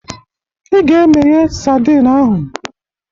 Ị ga-emeye sadin ahụ